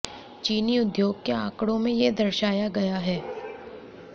चीनी उद्योग के आंकड़ों में यह दर्शाया गया है